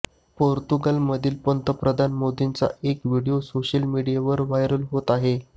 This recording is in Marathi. पोर्तुगालमधील पंतप्रधान मोंदींचा एक व्हिडिओ सोशल मीडियावर व्हायरल होत आहे